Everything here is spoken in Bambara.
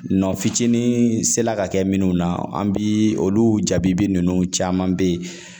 Nɔ fitinin sela ka kɛ minnu na, an bi olu jabibi nunnu caman be yen